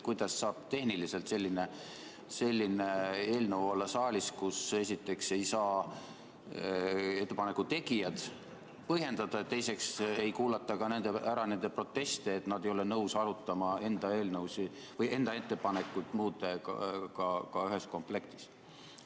Kuidas saab tehniliselt selline eelnõu olla saalis, kui esiteks ei saa ettepanekute tegijad oma ettepanekuid põhjendada ja teiseks ei kuulata ära nende proteste selle kohta, et nad ei ole nõus arutama enda ettepanekuid muudega ühes komplektis?